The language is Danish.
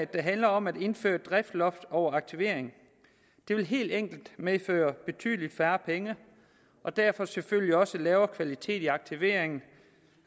der handler om at indføre driftsloft over aktivering det vil helt enkelt medføre betydelig færre penge og derfor selvfølgelig også lavere kvalitet i aktiveringen